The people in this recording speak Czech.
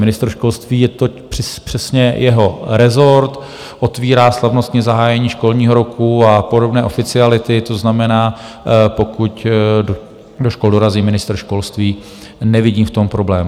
Ministr školství, je to přesně jeho rezort, otvírá slavnostní zahájení školního roku a podobné oficiality, to znamená, pokud do škol dorazí ministr školství, nevidím v tom problém.